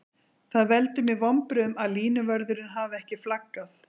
Það veldur mér vonbrigðum að línuvörðurinn hafi ekki flaggað.